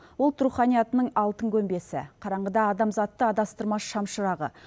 ұлт руханиятының алтын көмбесі қараңғыда адамзатты адастырмас шамшырағы